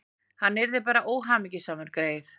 Hann yrði bara óhamingjusamur, greyið.